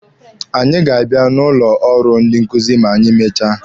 Anyị ga-aba n'ụlọ ọrụ ndị nkuzi ma anyị mechaa.